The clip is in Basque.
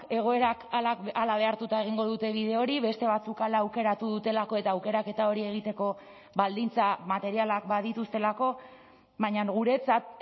egoerak hala behartuta egingo dute bide hori beste batzuk hala aukeratu dutelako eta aukeraketa hori egiteko baldintza materialak badituztelako baina guretzat